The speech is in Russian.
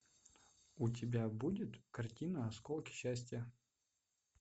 у тебя будет картина осколки счастья